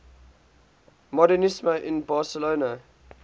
modernisme in barcelona